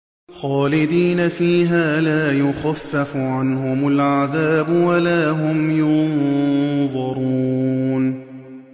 خَالِدِينَ فِيهَا لَا يُخَفَّفُ عَنْهُمُ الْعَذَابُ وَلَا هُمْ يُنظَرُونَ